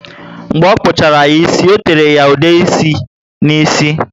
Mgbe ọ kpuchara ya ísì, o tere ya ude ịsị ná ísì